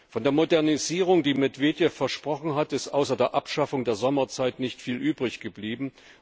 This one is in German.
Von der Modernisierung, die Medwedjew versprochen hat, ist außer der Abschaffung der Sommerzeit nicht viel übrig geblieben.